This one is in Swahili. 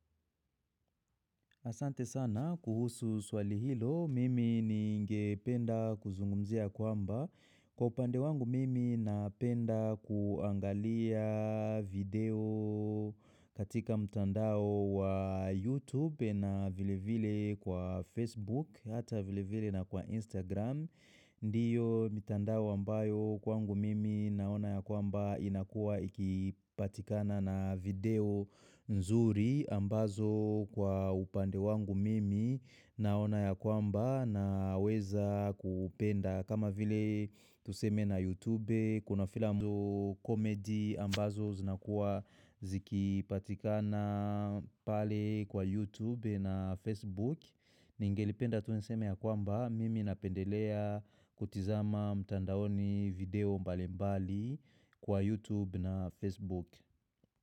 Asante sana kuhusu swali hilo, mimi ningependa kuzungumzia kwamba. Kwa upande wangu mimi napenda kuangalia video katika mtandao wa YouTube na vile vile kwa Facebook, hata vile vile na kwa Instagram. Ndiyo mitandao ambayo kwangu mimi naona ya kwamba inakua ikipatikana na video nzuri ambazo kwa upande wangu mimi naona ya kwamba naweza kupenda. Kama vile tuseme na YouTube, kuna filamu comedy ambazo zinakuwa zikipatikana pale kwa YouTube na Facebook Ningelipenda tu niseme ya kwamba, mimi napendelea kutizama mtandaoni video mbali mbali kwa YouTube na Facebook.